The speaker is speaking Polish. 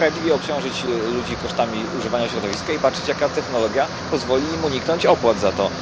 Należy sprawiedliwie obciążyć ludzi kosztami używania środowiska i patrzeć, jaka technologia pozwoli im uniknąć opłat za to.